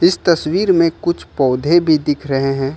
इस तस्वीर में कुछ पौधे भी दिख रहे हैं।